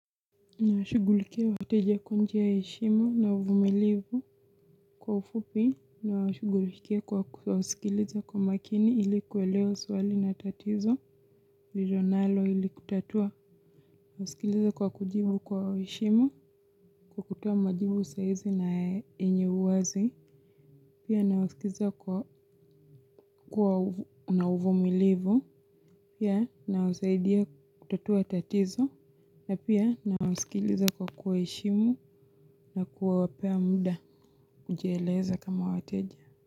Na washugulikia wateja kwa njia ya heshimu na uvumilivu kwa ufupi na washugulikia kwa kusikiliza kwa umakini ili kuelewa swali na tatizo vijonalo ili kutatua. Nasikiliza kwa kujibu kwa heshimu kwa kutoa majibu saizi na yenye uwazi. Pia na wasikiza kwa na uvumilivu pia na wasaidia kutatua tatizo na pia na wasikiliza kwa kuwa heshimu na kuwapea muda. Kujieleza kama wateja.